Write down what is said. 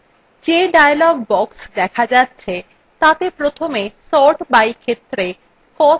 যে dialog box দেখা যাচ্ছে তাতে প্রথমে sort by ক্ষেত্রে cost নির্বাচন করুন